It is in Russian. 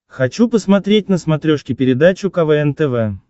хочу посмотреть на смотрешке передачу квн тв